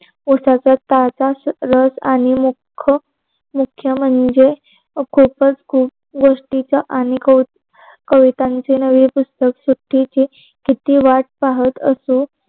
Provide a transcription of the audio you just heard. पोटाच्या पाहत्या रस आणि मुख्य मुख्य म्हणजे खूपच खूप गोष्टीच आम्ही आणि कविताच नवी पुस्तकच किती वाट पाहत असतो.